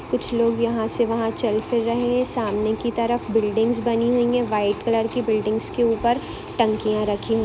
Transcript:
कुछ लोग यहाँ से वहाँ चल फिर रहें हैं सामने की तरफ बिल्डिंग्स बनी हुई हैं वाइट कलर की बिल्डिंग्स के ऊपर टंकियां रखी हुई है।